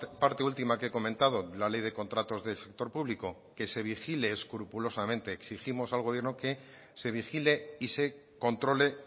parte última que he comentado de la ley de contratos del sector público que se vigile escrupulosamente exigimos al gobierno que se vigile y se controle